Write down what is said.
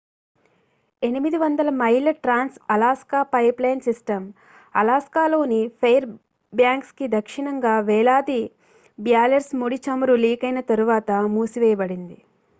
800 మైళ్ళ trans Alaska pipeline system అలాస్కాలోని Fairbanks కి దక్షిణంగా వేలాది బ్యారెల్స్ ముడి చమురు లీకైన తరువాత మూసివేయబడింది